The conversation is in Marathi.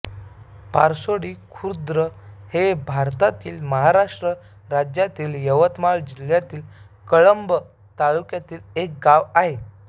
पारसोडी खुर्द हे भारतातील महाराष्ट्र राज्यातील यवतमाळ जिल्ह्यातील कळंब तालुक्यातील एक गाव आहे